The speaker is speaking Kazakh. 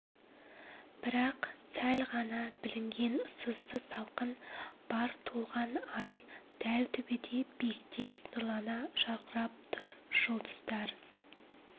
бірақ сәл ғана білінген сызды салқын бар толған ай дәл төбеде биіктеп нұрлана жаркырап тұр жүлдыздар